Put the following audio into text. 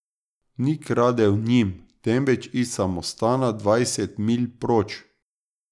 Ni kradel njim, temveč iz samostana dvajset milj proč.